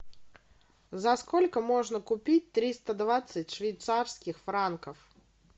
за сколько можно купить триста двадцать швейцарских франков